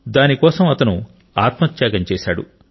దాని కోసం అతను ఆత్మ త్యాగం చేశాడు